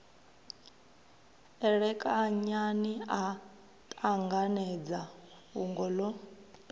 elekanyani a ṱanganedza fhungo ḽo